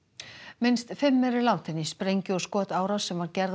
minnst fimm eru látin í sprengju og skotárás sem gerð